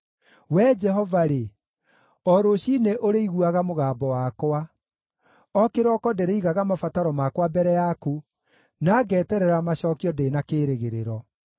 Wee Jehova-rĩ, o rũciinĩ ũrĩiguaga mũgambo wakwa; o kĩrooko ndĩrĩigaga mabataro makwa mbere yaku, na ngeterera macookio ndĩ na kĩĩrĩgĩrĩro.